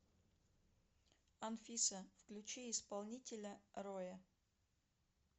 анфиса включи исполнителя роя